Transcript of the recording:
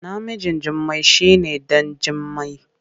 Namijn Jummai shi ne ɗan Jimmai.